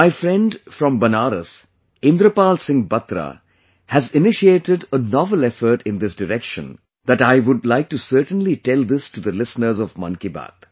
My friend hailing from Benaras, Indrapal Singh Batra has initiated a novel effort in this direction that I would like to certainly tell this to the listeners of Mann Ki Baat